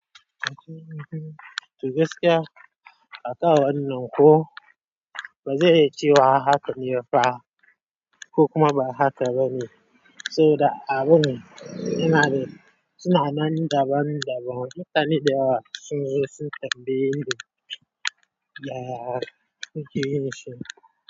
To gaskiya akanwannan ko ba zai yi cewa haka ne fa ko kuma ba haka ba ne? So da abu ne. Inani suna nan daban-daban. Mutane da yawa sun zo sun tambaye ni ya ake yin shi.